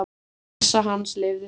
Heilsa hans leyfði það ekki.